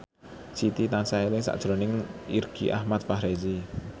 Siti tansah eling sakjroning Irgi Ahmad Fahrezi